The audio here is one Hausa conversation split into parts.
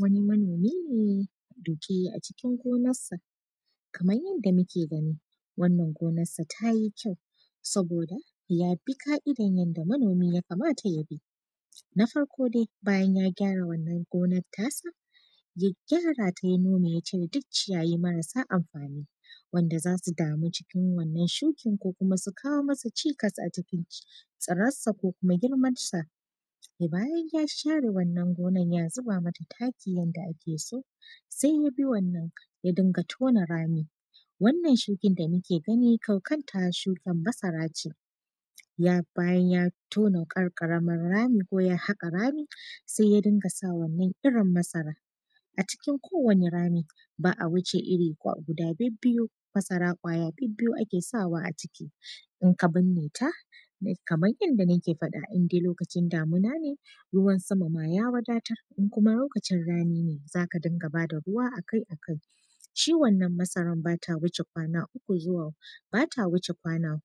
Wani manomi ne duke a cikin gonar sa, kamar yadda muke gani wannan gonarsa tayi kyau saboda yabi ka’idar yadda manomi ya kamata ya bi, na farko dai bayan ya kyara wannan gonar tasa ya gyara ta ya nome ya cire duk ciyayi marasa amfani wanda zasu dami cikin wannan shukin ko kuma su kawo masa cikas a cikin tsiransa ko kuma girmansa, bayan ya share wannan ganar ya zuba mata taki yadda ake so sai yabi wannan ya dinka tona rami, wannan shukin da muke gani ita kanta shukin masara ce bayan ya tona dan karamin rami ko yah aka rami sai ya ɗinga sa wannan irin masara a cikin kowane rami ba a wuce guda biyu-biyu masara kwaya biyu ake sawa a ciki in ka burne ta kamar yadda nake faɗa indai lokacin damuna ne ruwan sama ya wadatar in kuma lokacin rani ne zaka dunga bata ruwa akai-akai shi wannan masaran bata wuce kwana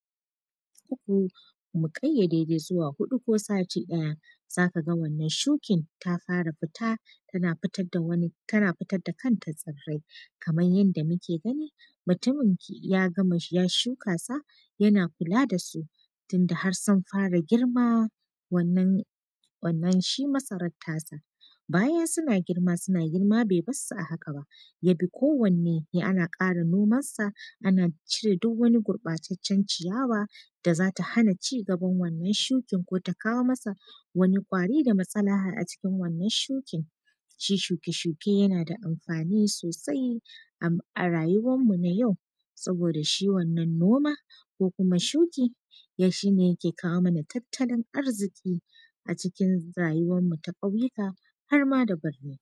uku mu kayyadai zuwa huɗu ko sati ɗaya zaka ga wannan shukin ta fara fita tana fitar da kanta tsirai, kamar yadda muke gani mutum ya shuka sa yana kula da su tun da har sun fara girma wannan shi masarar tasa bayan suna girma suna girma bai barsu a haka ba yadda kowane ana kara nomar sa ana jire duk wani gurɓatacen ciyawa da zata hana cigaban wannan shukin ko ta kawo masa wani ƙwari da matsala a cikin wannan shukin, shi shuke-shuke yana da amfani sosai a rayuwan mu na yau saboda shi wannan noma ko kuma shuki don shi ne yake kawo mana tattalin arziki a cikin rayuwan mu ta ƙauyuka har ma da burni.